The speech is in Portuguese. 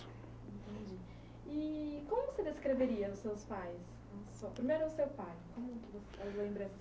Entendi. i-i como que você descreveria os seus pais? primeiro o seu pai.